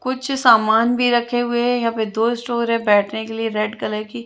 कुछ सामान भी रखे हुए है यहाँ पे दो स्टोर है बेठने के लिए रेड कलर कि--